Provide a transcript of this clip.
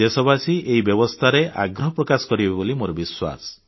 ଦେଶବାସୀ ଏହି ବ୍ୟବସ୍ଥାରେ ଆଗ୍ରହ ପ୍ରକାଶ କରିବେ ବୋଲି ମୋର ବିଶ୍ୱାସ